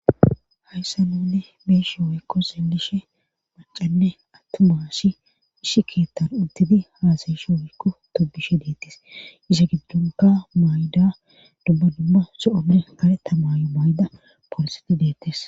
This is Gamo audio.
Hayssa nuunne beeshe hoykko selishe macanne attumashi ishi keettan untidi haasayisho wikko tobishe deettes isa giddonka mayda dubba dumma so'onne kareta mayo mayda pooloseti deettes.